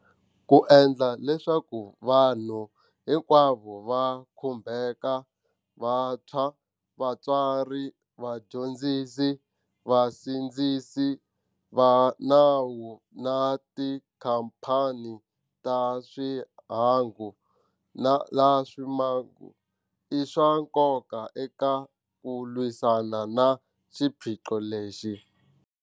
Ku endla leswaku vanhu hinkwavo va khumbeka - vantshwa, vatswari, vadyondzisi, vasindzisi va nawu na tikhamphani ta swihangu laswi maku - i swa nkoka eka ku lwisana na xiphiqo lexi,.